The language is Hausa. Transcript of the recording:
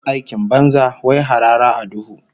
Aikin banza, wai harara a duhu